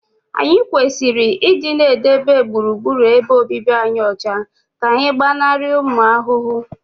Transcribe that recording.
anyị kwesịrị ịdị na-edobe gburugburu ebe obibi anyị ọcha ka anyị gbanarị ụmụ ahụhụ